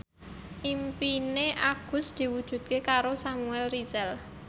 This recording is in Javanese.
impine Agus diwujudke karo Samuel Rizal